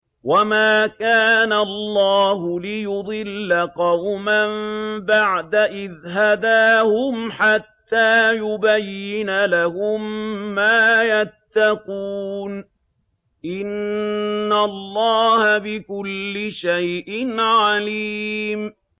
وَمَا كَانَ اللَّهُ لِيُضِلَّ قَوْمًا بَعْدَ إِذْ هَدَاهُمْ حَتَّىٰ يُبَيِّنَ لَهُم مَّا يَتَّقُونَ ۚ إِنَّ اللَّهَ بِكُلِّ شَيْءٍ عَلِيمٌ